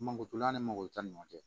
Mankotola ni mangorotani ɲɔgɔn cɛ